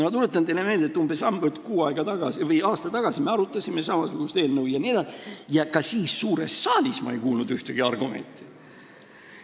Ma tuletan teile meelde, et umbes aasta tagasi me arutasime samasugust eelnõu ja ka siis ei kuulnud ma suures saalis ühtegi argumenti.